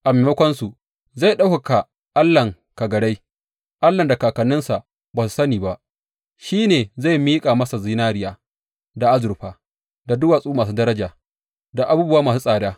A maimakonsu, zai ɗaukaka allahn kagarai; allahn da kakanninsa ba su ko sani ba, shi ne zai miƙa masa zinariya, da azurfa, da duwatsu masu daraja, da abubuwa masu tsada.